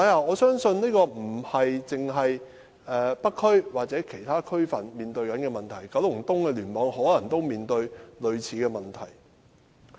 我相信這不單是北區或其他區分面對的問題，九龍東的聯網也可能面對類似的問題。